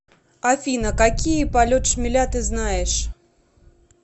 афина какие полет шмеля ты знаешь